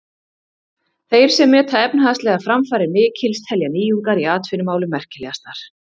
Þeir sem meta efnahagslegar framfarir mikils telja nýjungar í atvinnumálum merkilegastar.